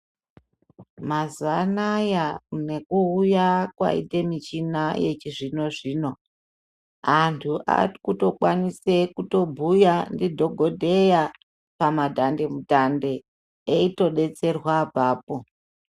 Mazuwaanaya nekuuya kwaite michina yechizvino zvino antu arikutokwanisa kutobhuya ndidhokodheya pamadhande mutande eitodetserwa apapo.